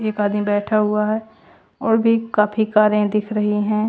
एक आदमी बैठा हुआ हैं और भी काफी कारें दिख रही हैं।